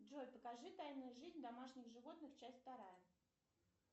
джой покажи тайную жизнь домашних животных часть вторая